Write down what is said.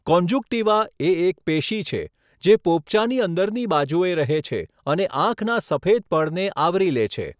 Conjunctiva એ એક પેશી છે જે પોપચાની અંદરની બાજુએ રહે છે અને આંખના સફેદ પડને આવરી લે છે.